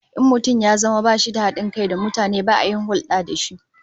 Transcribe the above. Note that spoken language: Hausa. In mutum ya zama bashi da hadin kai da mutane, ba a yin hulda da shi